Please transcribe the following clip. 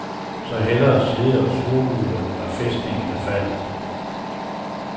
Så hellere sidde og surmule, når fæstningen er faldet.